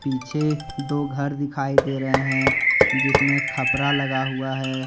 पीछे दो घर दिखाई दे रहे है जिसमे खपरा लगा हुआ है।